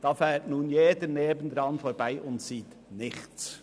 Dort fährt jeder daran vorbei und sieht nichts.